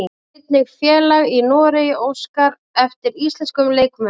Sjá einnig: Félag í Noregi óskar eftir íslenskum leikmönnum